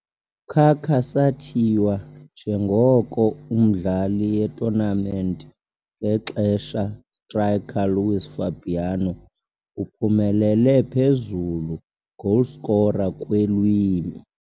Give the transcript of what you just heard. Kaká sathiywa njengoko umdlali ye-tournament ngexesha striker Luís Fabiano uphumelele phezulu goalscorer kweelwimi.